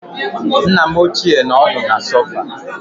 Nna m ochié nọ ọdụ na sòfà